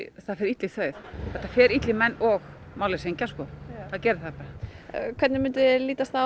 það fer illa í þau þetta fer illa í menn og málleysingja það gerir það hvernig myndi þér lítast á